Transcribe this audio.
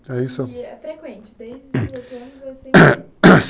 E é frequente, desde os 18 anos assim,